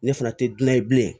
Ne fana tɛ gilan ye bilen